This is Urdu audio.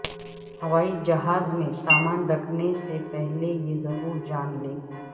ہوائی جہاز میں سامان رکھنے سے پہلے یہ ضرورجان لیں